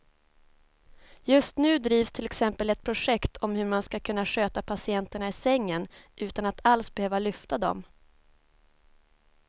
Just nu drivs till exempel ett projekt om hur man ska kunna sköta patienterna i sängen utan att alls behöva lyfta dem.